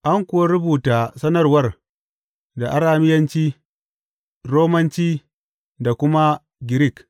An kuwa rubuta sanarwar da Arameyanci, Romanci da kuma Girik.